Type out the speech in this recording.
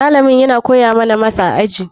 Malamin yana koya mana mas a aji.